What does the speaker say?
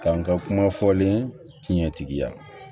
Ka n ka kuma fɔlen tiɲɛtigiya